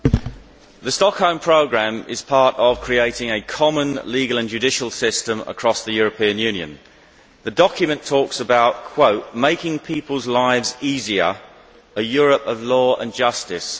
Mr President, the Stockholm Programme is part of creating a common legal and judicial system across the European Union. The document talks about making people's lives easier a Europe of law and justice'.